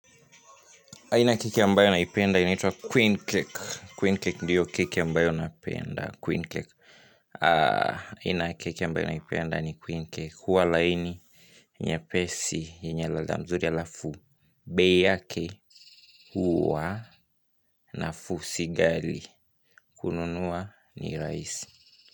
Aina ya keki ambayo naipenda inaitwa Queen Cake Queen Cake ndiyo keki ambayo napenda Queen Cake. Aina ya keki ambayo naipenda ni Queen Cake huwa laini nyepesi yenye ladha nzuri alafu bei yake huwa nafuu si ghali. Kununua ni raisi.